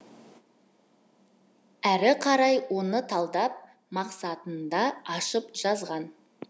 әрі қарай оны талдап мақсатында ашып жазған